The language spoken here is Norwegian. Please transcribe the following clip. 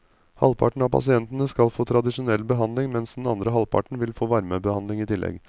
Halvparten av pasientene skal få tradisjonell behandling, mens den andre halvparten vil få varmebehandling i tillegg.